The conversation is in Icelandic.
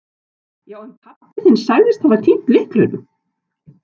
Já, en pabbi þinn sagðist hafa týnt lyklinum.